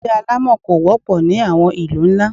Ilé alámọ̀ kò wọ́pọ̀ ní àwọn ìlú ńlá.